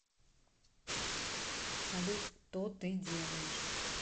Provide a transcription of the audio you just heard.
салют то ты делаешь